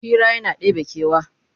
Hira yana ɗebe kewa